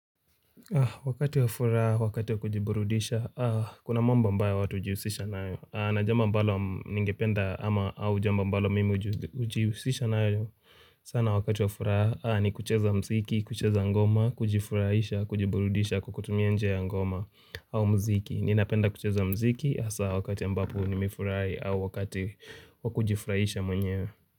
Wakati wa furaha, wakati wa kujiburudisha, kuna mambo ambayo watu hujiusisha nayo. Na jambo smbalo ningependa ama au jamba ambalo mimi hujihusisha nayo. Sana wakati wa furaha ni kucheza muziki, kucheza ngoma, kujifurahisha, kujiburudisha, kukutumia njia ya ngoma au muziki. Ninapenda kucheza muziki hasa wakati ambapo nimefurahi au wakati wa kujifurahisha mwenyewe.